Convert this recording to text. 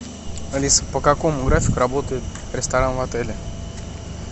алиса по какому графику работает ресторан в отеле